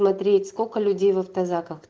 смотреть сколько людей в авто заках